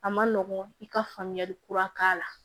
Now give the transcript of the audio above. A ma nɔgɔn i ka faamuyali kura k'a la